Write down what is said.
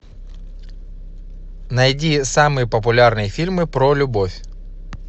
найди самые популярные фильмы про любовь